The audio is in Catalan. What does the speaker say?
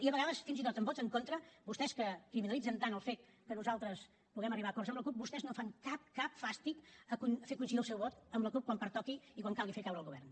i a vegades fins i tot amb vots en contra vostès que criminalitzen tant el fet que nosaltres puguem arribar a acords amb la cup vostès no fan cap cap fàstic a fer coincidir el seu vot amb la cup quan pertoqui i quan calgui fer caure el govern